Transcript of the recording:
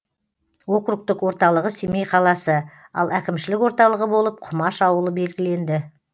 округтік орталығы семей қаласы ал әкімшілік орталығы болып кұмаш ауылы белгіленді